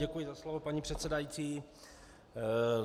Děkuji za slovo, paní předsedající.